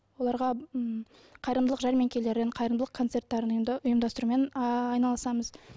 оларға м қайырымдылық жәрмеңкелерін қайырымдылық концерттерін ұйымдастырумен ыыы айналысамыз